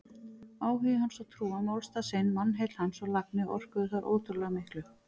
Áhugi hans og trú á málstað sinn, mannheill hans og lagni orkuðu þar ótrúlega miklu.